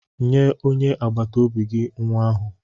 Nye onye agbata obi gị nwa ahụ.